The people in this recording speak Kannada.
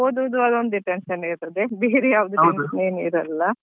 ಓದುದು ಅದೊಂದೇ tension ಇರ್ತದೆ ಬೇರೆ ಯಾವ್ದು tension ಇರಲ್ಲ ಅದೇ.